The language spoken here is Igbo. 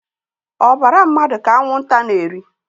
Obara mmadụ ka anwụnta na-eri